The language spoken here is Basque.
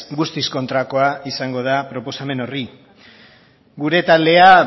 guztiz kontrakoa izango da proposamen horri gure taldean